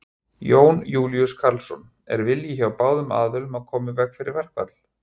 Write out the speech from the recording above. Jón Júlíus Karlsson: Er vilji hjá báðum aðilum að koma í veg fyrir verkfall?